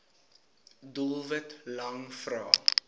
doelwit lang vrae